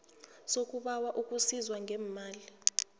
sokubawa ukusizwa ngeemali